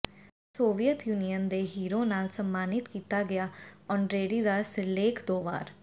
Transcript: ਉਹ Soviet Union ਦੇ hero ਨਾਲ ਸਨਮਾਨਿਤ ਕੀਤਾ ਗਿਆ ਆਨਰੇਰੀ ਦਾ ਸਿਰਲੇਖ ਦੋ ਵਾਰ